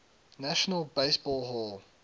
national baseball hall